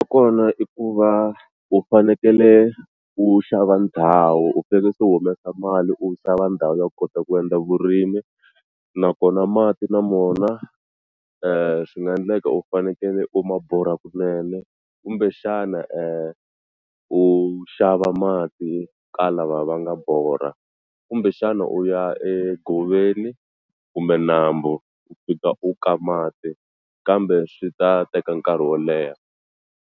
Kona i ku va u fanekele u xava ndhawu u fanekele se u humesa mali u xava ndhawu yo kota ku endla vurimi nakona mati na mona swi nga endleka u fanekele u ma borha kunene kumbexana u xava mati ka lava va nga borha kumbexana u ya egoveni kumbe nambu u fika u ka mati kambe swi ta teka nkarhi wo leha.